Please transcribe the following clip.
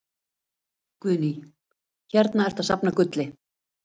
Guðný: Hérna ertu að safna gulli?